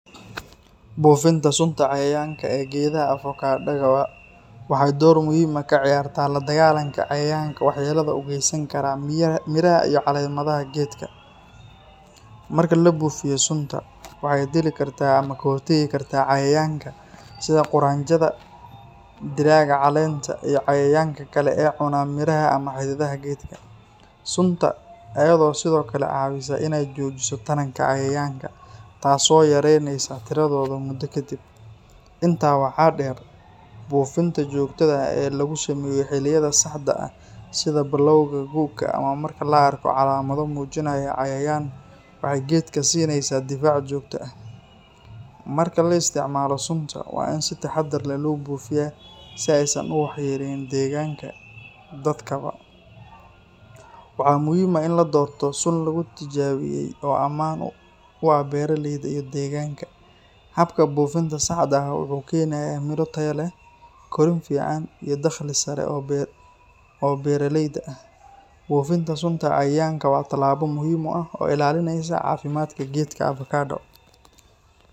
Buufinta sunta cayayaanka ee geedaha avocado-ga waxay door muhiim ah ka ciyaartaa la dagaallanka cayayaanka waxyeellada u geysan kara miraha iyo caleemaha geedka. Marka la buufiyo sunta, waxa ay dili kartaa ama ka hortagi kartaa cayayaanka sida quraanjada, dillaaga caleenta, iyo cayayaanka kale ee cuna miraha ama xididdada geedka. Sunta ayaa sidoo kale caawisa in ay joojiso taranka cayayaanka, taas oo yaraynaysa tiradooda muddo kadib. Intaa waxaa dheer, buufinta joogtada ah ee lagu sameeyo xilliyada saxda ah sida bilowga gu’ga ama marka la arko calaamado muujinaya cayayaan, waxay geedka siinaysaa difaac joogto ah. Marka la isticmaalayo sunta, waa in si taxaddar leh loo buufiyaa si aysan u waxyeelleyn deegaanka, dadkaba. Waxaa muhiim ah in la doorto sun lagu tijaabiyay oo ammaan u ah beeraleyda iyo deegaanka. Habka buufinta saxda ah wuxuu keenayaa miro tayo leh, korriin fiican, iyo dakhli sare oo beeraleyda ah. Buufinta sunta cayayaanka waa tallaabo muhiim ah oo ilaalinaysa caafimaadka geedka avocado.